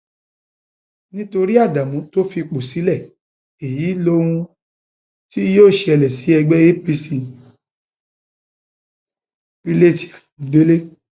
nítorí ádámù tó fipò sílẹ èyí lohun tí yóò ṣẹlẹ sí ẹgbẹ apc pilate ayọdẹ